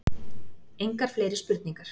Engar fleiri spurningar.